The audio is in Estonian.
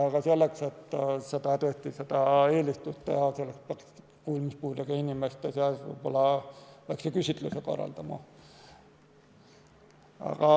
Aga selleks, et kuulmispuudega inimeste eelistust teada saada, peaks võib-olla väikese küsitluse korraldama.